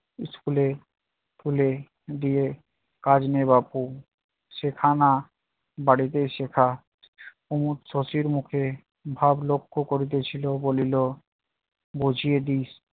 school এ তুলে দিয়ে কাজ নেই বাপু, শেখা না বাড়িতে শেখা কুমদ শশীর মুখে ভাব লক্ষ করিতেছিল বলিল- বুঝিয়ে দিস